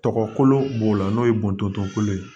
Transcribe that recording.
Tɔgɔ kolo b'o la n'o ye bɔndon kolo ye